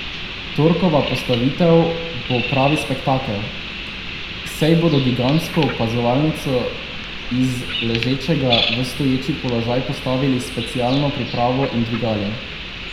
Torkova postavitev bo pravi spektakel, saj bodo gigantsko opazovalnico iz ležečega v stoječi položaj postavili s specialno pripravo in dvigali.